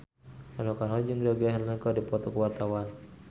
Rano Karno jeung Georgie Henley keur dipoto ku wartawan